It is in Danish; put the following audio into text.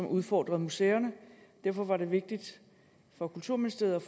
udfordret museerne derfor var det vigtigt for kulturministeriet